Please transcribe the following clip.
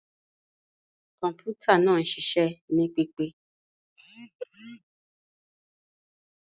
Bẹẹni, kọǹpútà naa ń ṣiṣẹ ni pipe.